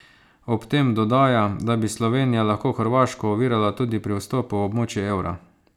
Ob tem dodaja, da bi Slovenija lahko Hrvaško ovirala tudi pri vstopu v območje evra.